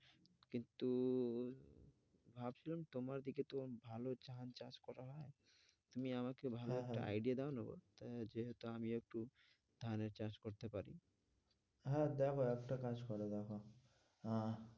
ভাবছিলাম যে তোমাদের দিকে তো ভালো ধান চাষ করা হয় তুমি আমাকে ভালো একটা idea দাও না গো, ওটা যেটা আমি একটু ধানের চাষ করতে পারি হ্যাঁ, দেখো একটা কাজ করে দেখো আহ